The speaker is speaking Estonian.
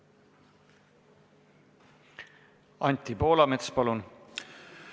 Anti Poolamets, palun!